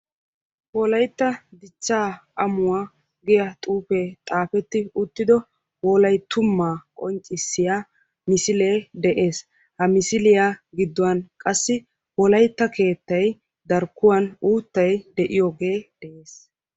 Wolaytta dichcha amuwa giya xuufe xaafeti uttido wolayttuma qonccissiya misilee de'ees. Ha misiliya gidduwan qassi wolaytta keettay darkkuwan uuttay de'iyoge de'ees.